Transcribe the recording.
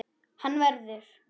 Hann verður.